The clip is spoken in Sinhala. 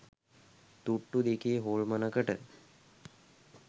තුට්ටු දෙකේ හොල්මනකට